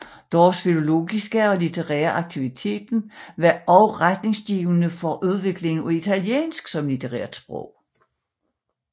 Deres filologiske og litterære aktivitet var også retningsgivende for udviklingen af italiensk som litterært sprog